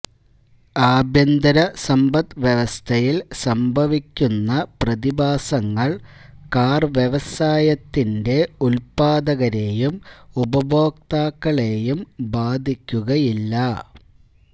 ആഭ്യന്തര സമ്പദ്വ്യവസ്ഥയിൽ സംഭവിക്കുന്ന പ്രതിഭാസങ്ങൾ കാർ വ്യവസായത്തിന്റെ ഉല്പാദകരെയും ഉപഭോക്താക്കളെയും ബാധിക്കുകയില്ല